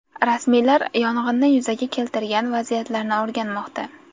Rasmiylar yong‘inni yuzaga keltirgan vaziyatlarni o‘rganmoqda.